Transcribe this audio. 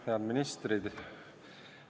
Head ministrid!